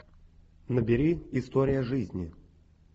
набери история жизни